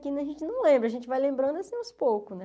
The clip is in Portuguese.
Que a gente não lembra, a gente vai lembrando assim aos poucos, né?